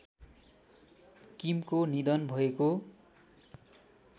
किमको निधन भएको